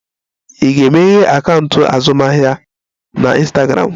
I ga-emeghe akaụntụ azụmaahịa na Ịnstagramụ?